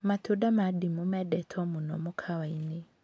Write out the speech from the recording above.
Matunda ma ndimũ mendetwo mũno mũkawa-inĩ